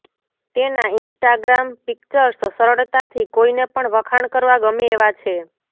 તેના Instagram pictures સરળતાથી કોઈને પણ વખાણ કરવા ગમે એવા છે